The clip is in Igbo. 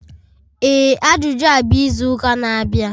Ee Ajuju a bụ izu ụka na-abịa.